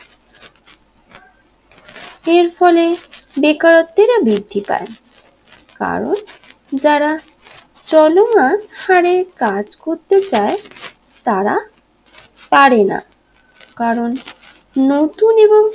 এর ফলে বেকারত্বের বৃদ্ধি পায় কারণ যারা চলওয়া হরে কাজ করতে চায় তারা পারেনা কারণ নতুন এবং